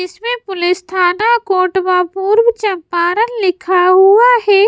इसमें पुलिस थाना कोटवा पूर्व चंपारण लिखा हुआ है।